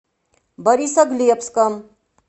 борисоглебском